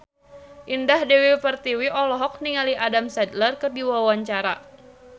Indah Dewi Pertiwi olohok ningali Adam Sandler keur diwawancara